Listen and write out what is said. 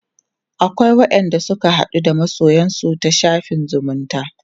akwai wa ƴan da suke haɗuwa da masoyansu ta shafin zumunta